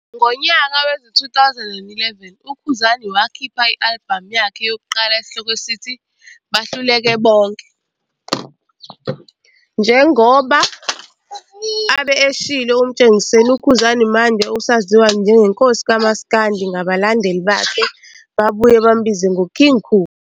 Ngonyaka wezi-2011 uKhuzani wakhipha i-alibhamu yakhe yokuqala esihloko sithi "Bahluleke Bonke". Njengoba abe eshilo uMtshengiseni, uKhuzani manje usaziwa njengeNkosi kaMaskandi ngabalandeli bakhe babuye bambize ngo "King Khuba"!